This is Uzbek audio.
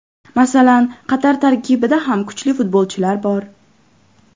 Masalan Qatar tarkibida ham kuchli futbolchilar bor.